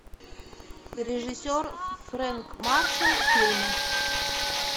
режиссер фрэнк маршал фильмы